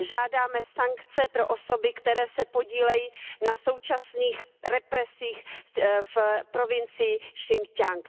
Žádáme sankce pro osoby, které se podílejí na současných represích v provincii Sin ťiang.